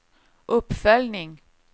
uppföljning